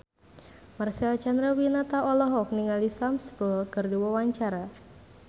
Marcel Chandrawinata olohok ningali Sam Spruell keur diwawancara